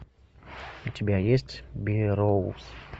у тебя есть берроуз